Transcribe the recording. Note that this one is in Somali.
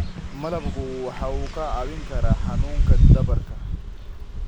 Malabku waxa uu kaa caawin karaa xanuunka dhabarka.